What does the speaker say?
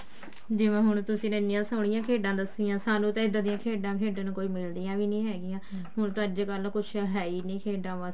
ਜਿਵੇਂ ਹੁਣ ਤੁਸੀਂ ਨੇ ਇੰਨੀਆਂ ਖੇਡਾਂ ਦੱਸੀਆਂ ਸਾਨੂੰ ਤਾਂ ਇੱਦਾਂ ਦੀਆਂ ਖੇਡਾਂ ਖੇਡਣ ਨੂੰ ਮਿਲਦੀਆਂ ਨੀ ਹੈਗੀਆਂ ਹੁਣ ਤਾਂ ਅੱਜਕਲ ਕੁੱਝ ਹੈ ਓ ਨੀ ਖੇਡਾਂ